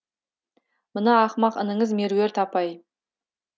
мына ақымақ ініңіз меруерт апай